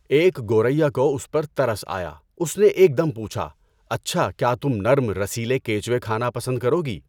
ایک گوریّا کو اس پر ترس آیا، اُس نے ایک دم پوچھا، اچھا کیا تم نرم رسیلے کیچوے کھانا پسند کروگی؟